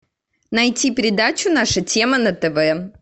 найти передачу наша тема на тв